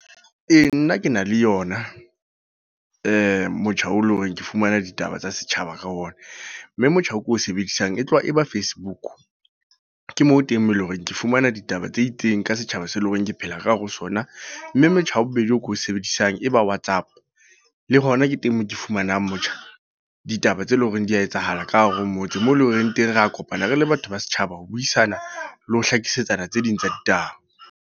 Ee, nna ke na le yona. Motjha o leng hore ke fumana ditaba tsa setjhaba ka ona. Mme motjha o ko o sebedisang e tloha e ba Facebook. Ke moo teng eleng horeng ke fumana ditaba tse itseng ka setjhaba se leng hore ke phela ka hare ho so sona. Mme motjha ya bobedi, o ko o sebedisang e ba WhatsApp. Le hona ke teng moo ke fumanang motjha, ditaba tse leng hore di a etsahala ka hare ho motse. Moo e leng hore teng re kopana re le batho ba setjhaba ho buisana le ho hlakisetsa tse ding tsa ditaba.